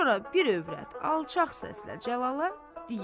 Sonra bir övrət alçaq səslə Cəlala deyir.